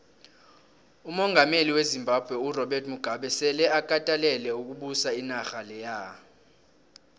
umongameli wezimbabwe urobert mugabe sele akatelele ukubusa inarha leya